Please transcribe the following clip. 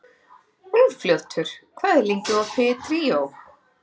Úlfljótur, hvað er lengi opið í Tríó?